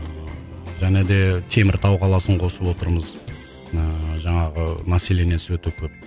және де теміртау қаласын қосып отырмыз ыыы жаңағы населениесі өте көп